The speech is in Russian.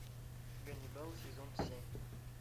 ганнибал сезон семь